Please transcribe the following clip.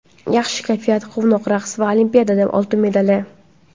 Yaxshi kayfiyat, quvnoq raqs va Olimpiada oltin medali.